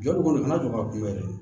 Jɔli kɔni kana jɔ ka kunbɛn dɛ